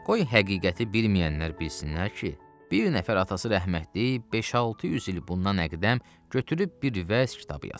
Qoy həqiqəti bilməyənlər bilsinlər ki, bir nəfər atası rəhmətlik, beş-altı yüz il bundan əqdəm götürüb bir vəz kitabı yazıb.